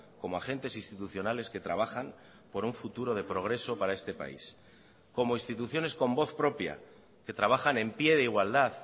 como agentes institucionales que trabajan por un futuro de progreso para este país como instituciones con voz propia que trabajan en pie de igualdad